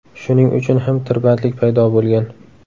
Shuning uchun ham tirbandlik paydo bo‘lgan.